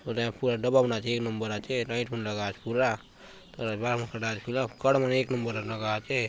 ये पूरा डब्बा मन आचे एक नंबर आचे लाइट मन लगला आचे पूरा बाल बले कटय ला आचे पिला कट बले एक नंबर र लगला आचे।